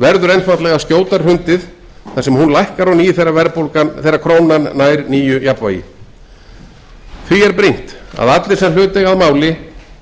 verður einfaldlega skjótar hrundið þar sem hún lækkar á ný þegar krónan nær nýju jafnvægi því er brýnt að allir sem hlut eiga að máli